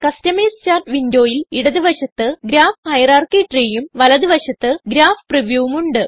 customise chart വിൻഡോയിൽ ഇടത് വശത്ത് ഗ്രാഫ് ഹയറാർക്കി treeയും വലത് വശത്ത് ഗ്രാഫ് previewവും ഉണ്ട്